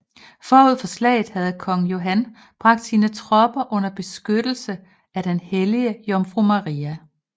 Forud for slaget havde kong Johan bragt sine tropper under beskyttelse af den hellige Jomfru Maria